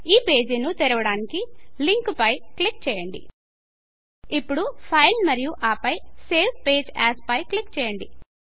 ఈ పేజీ ను తెరవడానికి లింకు పై క్లిక్ చేయండి ఇప్పుడు Fileఫైల్ మరియు ఆపై సేవ్ పేజ్ ఏఎస్ పై క్లిక్ చేయండి